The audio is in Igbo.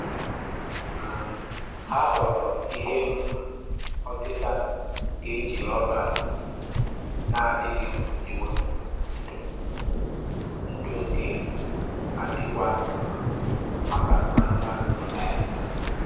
um Ha họọrọ ihe um ọtịta nke e ji rọba um na-adịghị ewepụ ndụ, ndụ, nke dịkwa mma maka anụmanụ mee